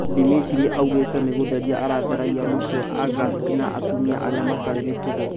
Dmitri augĩte "nĩgũtheria aratheragia"mũciĩ wa Angarsk na atumia arĩa matarĩ mĩtugo